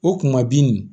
O kuma bin